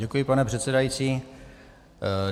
Děkuji, pane předsedající.